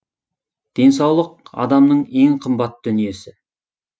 денсаулық адамның ең қымбат дүниесі